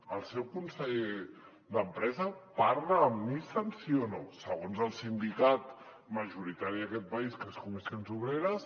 el seu conseller d’empresa parla amb nissan sí o no segons el sindicat majoritari d’aquest país que és comissions obreres